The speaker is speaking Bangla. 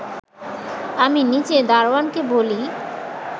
আমি নিচে দারোয়ানকে বলি